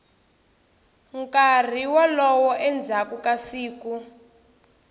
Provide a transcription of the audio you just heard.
nkarhi wolowo endzhaku ka siku